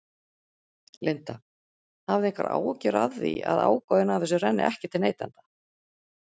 Linda: Hafið þið einhverjar áhyggjur af því að ágóðinn af þessu renni ekki til neytenda?